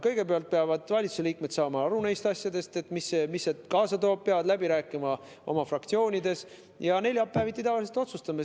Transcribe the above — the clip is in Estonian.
Kõigepealt peavad valitsuse liikmed saama aru sellest, mida see kaasa toob, nad peavad läbi rääkima oma fraktsioonidega ja siis neljapäeviti me tavaliselt otsustame.